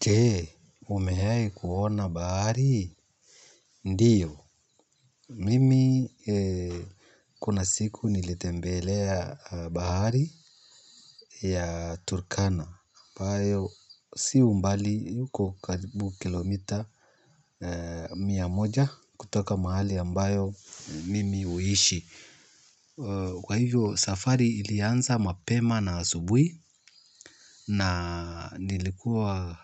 Je, umewahi kuona bahari? Ndiyo. Mimi kuna siku nilitembelea bahari ya Turkana. Ambayo, si mbali uko karibu kilomita mia moja kutoka mahali ambayo mimi huishi. Kwa hivyo safari ilianza mapema na asubuhi na nilikuwa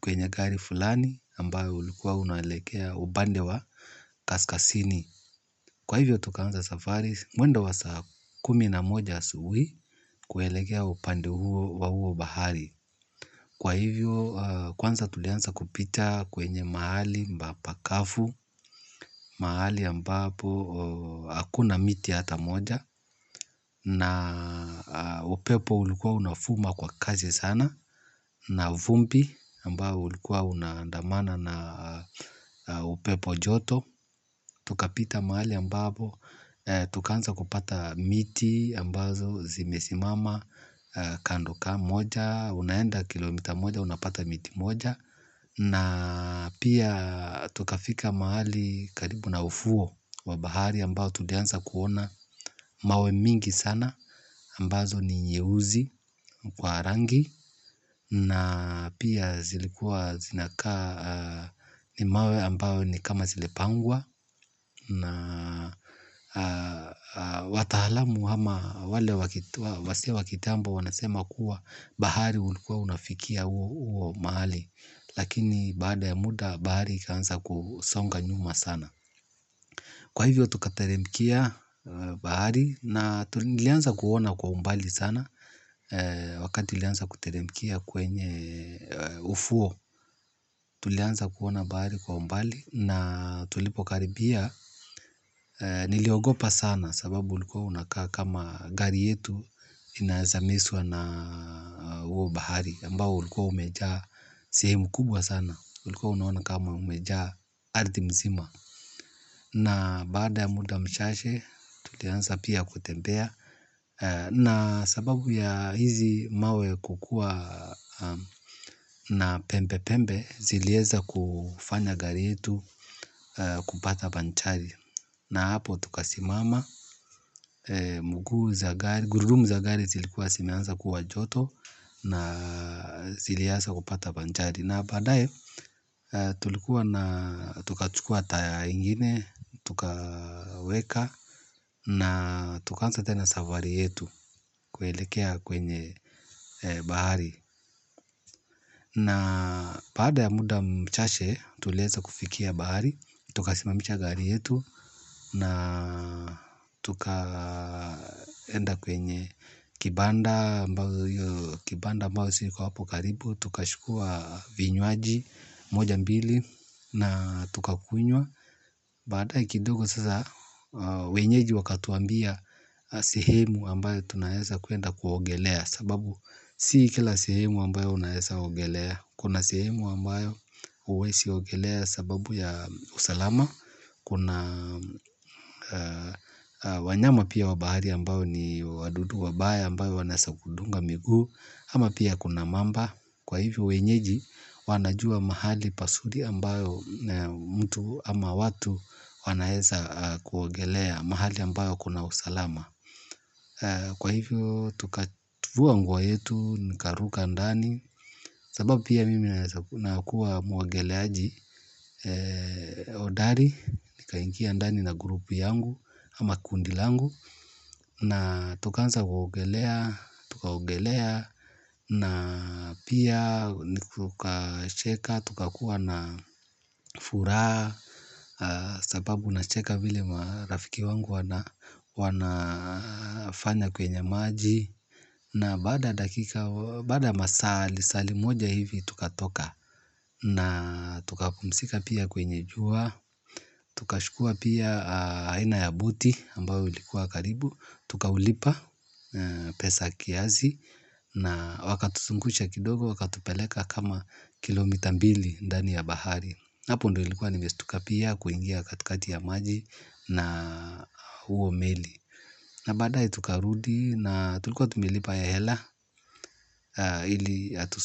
kwenye gari fulani ambayo ulikuwa unaelekea upande wa kaskazini. Kwa hivyo tukaanza safari mwendo wa saa kumi na moja asubuhi kwelekea upande wa huo bahari. Kwa hivyo, kwanza tulianza kupita kwenye mahali pakafu, mahali ambapo hakuna miti hata moja na upepo ulikuwa unavuma kwa kasi sana na vumbi ambao ulikuwa unaandamana na upepo joto. Tukapita mahali ambapo tukaanza kupata miti ambazo zimesimama kando moja. Unaenda kilomita moja unapata miti moja. Na pia tukafika mahali karibu na ufuo wa bahari ambao tulianza kuona mawe mingi sana ambazo ni nyeusi kwa rangi. Na pia zilikua zinakaa ni mawe ambao ni kama zilipangwa na wataalamu ama wale wazee wa kitambo wanasema kuwa bahari ulikuwa unafikia huo mahali. Lakini baada ya muda bahari ikaanza kusonga nyuma sana. Kwa hivyo tukateremkia bahari na tulianza kuona kwa umbali sana. Wakati ulianza kuteremkia kwenye ufuo. Tulianza kuona bahari kwa umbali na tulipokaribia niliogopa sana sababu ulikuwa unakaa kama gari yetu inaeza mezwa na huo bahari ambao ulikuwa umejaa sehemu kubwa sana. Ulikuwa unaona kama umejaa ardhi mzima. Na baada ya muda mchache tulianza pia kutembea. Na sababu ya hizi mawe kukuwa na pembe pembe zilieza kufanya gari yetu kupata banchari. Na hapo tukasimama muguu za gari, gurudumu za gari zilikuwa zimeanza kuwa joto na zilianza kupata panjari. Na baadaye tulikuwa na tukachukua tire ingine, tukaweka na tukaanza tena safari yetu kuelekea kwenye bahari. Na baada ya muda mchache, tulieza kufikia bahari, tukasimamisha gari yetu na tukaenda kwenye kibanda ambayo ziko hapo karibu, tukachukuwa vinyuaji moja mbili na tukakunywa. Baadaye kidogo sasa wenyeji wakatwambia sehemu ambayo tunaeza kwenda kuogelea sababu si kila sehemu ambayo unaeza ogelea. Kuna sehemu ambayo huwezi ogelea sababu ya usalama. Kuna wanyama pia wa bahari ambayo ni wadudu wabaya ambayo wanaeza kudunga miguu. Ama pia kuna mamba. Kwa hivyo wenyeji wanajuwa mahali pazuri ambayo mtu ama watu wanaeza kuogelea. Mahali ambayo kuna usalama. Kwa hivyo, tukafua nguo yetu, nikaruka ndani, sababu pia mimi nakuwa muogeleaji, hodari, nikaingia ndani na group yangu, ama kundi langu, na tukaanza kuogelea, tukaogelea, na pia tukacheka, tukakuwa na furaha. Sababu nacheka vile marafiki wangu wanafanya kwenye maji. Na baada ya dakika baada masaa lisali moja hivi tukatoka. Na tukapumzika pia kwenye jua. Tukachukua pia aina ya buti ambao ulikuwa karibu. Tukaulipa pesa kiasi na wakatuzungusha kidogo wakatupeleka kama kilomita mbili ndani ya bahari hapo ndo nilikuwa nimestuka pia kuingia katikati ya maji na huo meli na baadaye tukarudi na tulikuwa tumelipa hela ili atuzungushe.